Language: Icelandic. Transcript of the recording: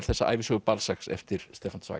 þessa ævisögu Balzacs eftir